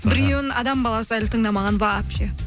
біреуін адам баласы әлі тыңдамаған вообще